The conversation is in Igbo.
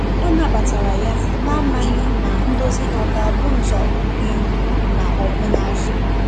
Ọ na batara ya, na amaghi ma ndozi ha ọga bụ nzọụkwụ n'ihu ma ọbụ n'azu